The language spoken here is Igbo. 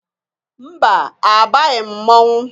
Mba! Abaghị m mmọnwụ.